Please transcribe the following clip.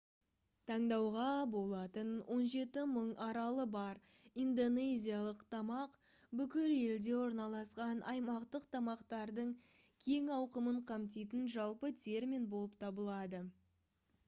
таңдауға болатын 17 000 аралы бар индонезиялық тамақ бүкіл елде орналасқан аймақтық тамақтардың кең ауқымын қамтитын жалпы термин болып табылады